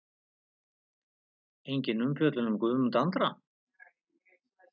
Engin umfjöllun um Guðmund Andra?